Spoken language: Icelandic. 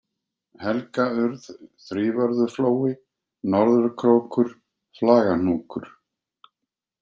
Helgaurð, Þrívörðuflói, Norðurkrókur, Flagahnúkur